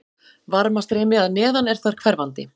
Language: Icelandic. Varmastreymi að neðan er þar hverfandi.